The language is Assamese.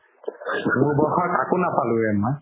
মোৰ বয়সৰ কাকো নাপালো ৰে মই